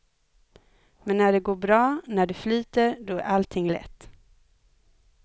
Men när det går bra, när det flyter, då är allting lätt.